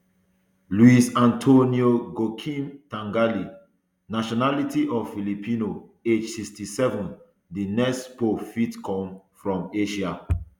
luis antonio gokim tagle nationality filipino age sixty-seven di next pope fit come from asia